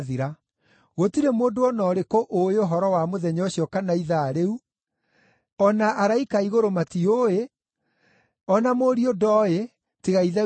“Gũtirĩ mũndũ o na ũrĩkũ ũũĩ ũhoro wa mũthenya ũcio kana ithaa rĩu, o na araika a igũrũ matiũĩ, o na Mũriũ ndooĩ, tiga Ithe wiki!